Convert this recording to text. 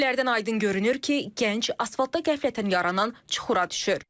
Görüntülərdən aydın görünür ki, gənc asfaltdan qəflətən yaranan çuxura düşür.